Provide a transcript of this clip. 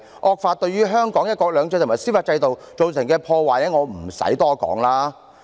惡法對於香港的"一國兩制"及司法制度造成的破壞，無須我多說了。